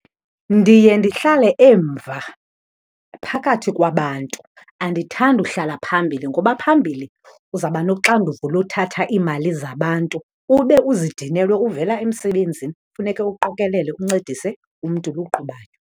Ndiye ndihlale emva phakathi kwabantu. Andithandi uhlala phambili ngoba phambili uzaba noxanduvo lothatha iimali zabantu, ube uzidinelwe uvela emsebenzini, funeke uqokelele uncedise umntu lo uqhubayo.